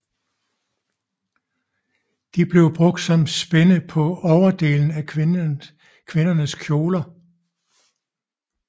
De blev brugt som spænde på overdelen af kvindernes kjoler